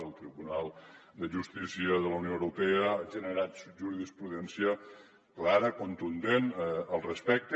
el tribunal de justícia de la unió europea ha generat jurisprudència clara contundent al respecte